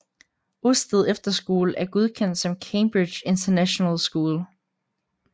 Osted Efterskole er godkendt som Cambridge International School